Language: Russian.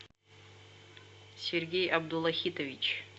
сергей абдулахитович